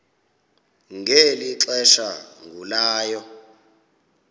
ngeli xesha agulayo